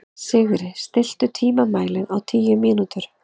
Sigri, stilltu tímamælinn á tíu mínútur.